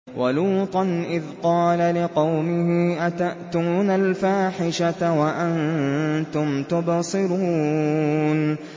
وَلُوطًا إِذْ قَالَ لِقَوْمِهِ أَتَأْتُونَ الْفَاحِشَةَ وَأَنتُمْ تُبْصِرُونَ